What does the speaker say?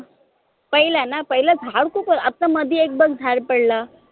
पहिले न पहिले झाड कुठं आता मदी एकदम झाड पडलं